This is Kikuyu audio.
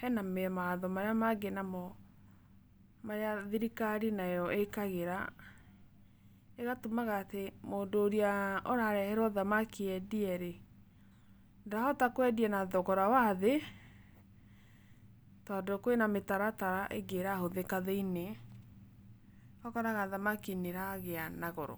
he na mawatho marĩa mangĩ na mo marĩa thirikari nayo ĩkagĩra ĩgatũmaga atĩ mũndũ ũrĩa ũrareherwo thamaki endie rĩ, ndarahota kwendia na thogora wa thĩ tondũ kwĩ na mĩtaratara ĩngĩ ĩrahũthĩka thĩiniĩ ũgakoraga thamaki nĩ ĩragĩa na goro.